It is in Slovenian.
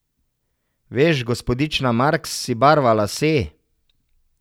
Veš, gospodična Marks si barva lase.